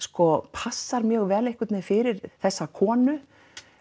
passar mjög vel fyrir þessa konu